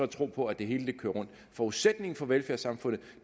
tro på at det hele kører rundt forudsætningen for velfærdssamfundet